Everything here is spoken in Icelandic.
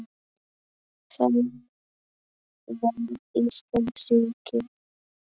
Hvenær varð Ísland ríki?